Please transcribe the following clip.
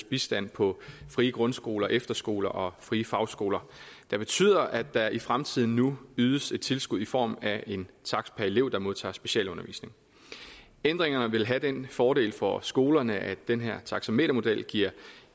bistand på frie grundskoler efterskoler og frie fagskoler det betyder at der i fremtiden nu ydes et tilskud i form af en takst per elev der modtager specialundervisning ændringerne vil have den fordel for skolerne at den her taxametermodel giver